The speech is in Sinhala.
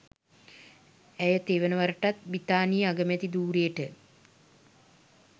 ඇය තෙවන වරටත් බ්‍රිතාන්‍යයේ අගමැති ධූරයට